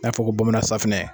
N'a fɔ ko bamana saffunɛ